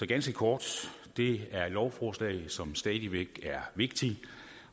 ganske kort det er et lovforslag som stadig væk er vigtigt